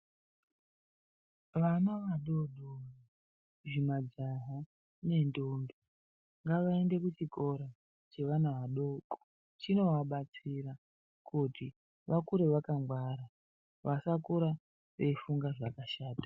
Vana vadodori zvimajaha nendombi ngavaende kuchikora chevana vadoko, chinovabatsira kuti vakure vakangwara, vasakura veifunga zvakashata.